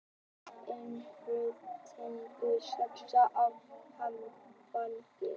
Innflutningur saxar á afganginn